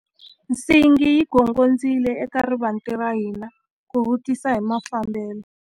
Nsingi yi gongondzile eka rivanti ra hina ku vutisa hi mafambelo.